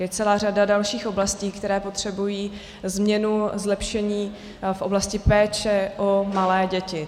Je celá řada dalších oblastí, které potřebují změnu, zlepšení v oblasti péče pro malé děti.